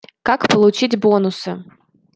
как получить бонусы